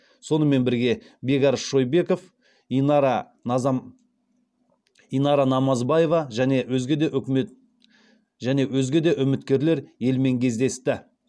сонымен бірге бекарыс шойбеков инара намазбаева және өзге де үміткерлер елмен кездесті